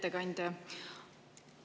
Hea ettekandja!